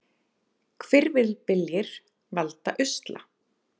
Hvirfilbyljir valda usla